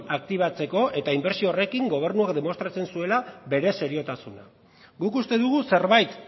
aktibatzeko eta inbertsio horrekin gobernuak demostratzen zuela bere seriotasuna guk uste dugu zerbait